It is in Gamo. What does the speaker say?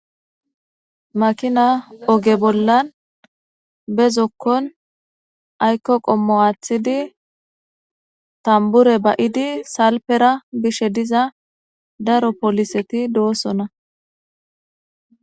Makina oge bollan be zokkon aykko qommo aaththidi tambure ba7idi salpera bishe diza daro poliseti doosona